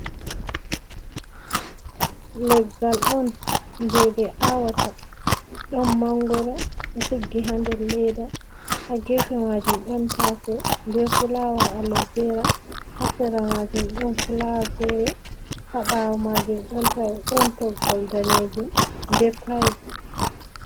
Leggal on, je ɓe awata ɗon mangoro ɗo tiggi ha nder ledda, ha gefe majum, ɗon taso be fulawa, alovera ha sera majum, ɗon filawa fere haɓwo majum, ɗon toggol danejum be payeb.